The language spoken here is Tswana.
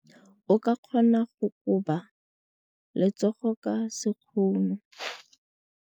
O ka kgona go koba letsogo ka sekgono.